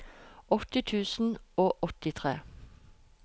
åtti tusen og åttitre